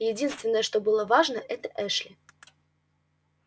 единственное что было важно это эшли